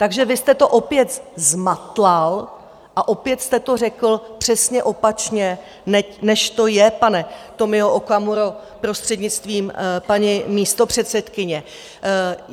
Takže vy jste to opět zmatlal a opět jste to řekl přesně opačně, než to je, pane Tomio Okamuro, prostřednictvím paní místopředsedkyně.